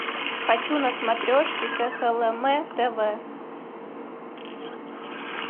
хочу на смотрешке кхлм тв